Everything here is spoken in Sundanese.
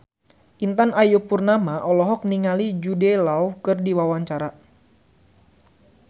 Intan Ayu Purnama olohok ningali Jude Law keur diwawancara